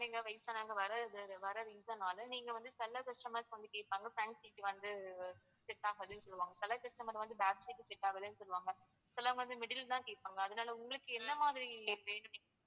வயசானவங்க வர்றது வர்றா reason னால நீங்க வந்து சில customers வந்து கேப்பாங்க front seat வந்து set ஆகாதுன்னு சொல்லுவாங்க சில customer வந்து back seat set ஆகல சொல்லுவாங்க சிலவங்க வந்து middle தான் கேப்பாங்க அதனால உங்களுக்கு என்னமாதிரி வேணும்